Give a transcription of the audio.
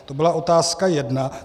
To byla otázka jedna.